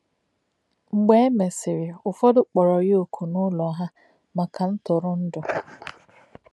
Mgbe e mesịrị, Ụ̀fọ́dị̀ kpọrọ ya ọ̀kù n’ụlọ ha maka ntụrụndụ.